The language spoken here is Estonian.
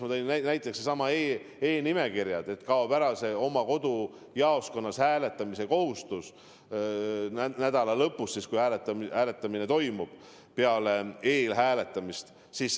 Ma tõin näiteks e-nimekirjad, kaob ära see oma kodujaoskonnas nädala lõpus hääletamise kohustus, kui eelhääletamine on lõppenud.